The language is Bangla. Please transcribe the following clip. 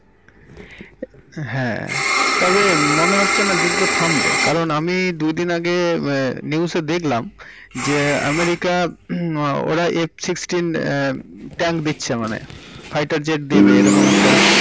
হ্যাঁ তবে মনে হচ্ছে না যুদ্ধ থামবে কারণ আমি দুদিন আগে মম news এ দেখলাম যে আমেরিকা হুম ওরা eight sixteen tank দিচ্ছে মানে, fighter jet দেবে এই রকম একটা।